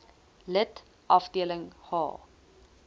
lid afdeling h